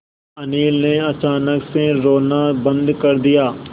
अनिल ने अचानक से रोना बंद कर दिया